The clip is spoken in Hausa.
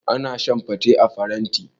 Ana shan fate a faranti.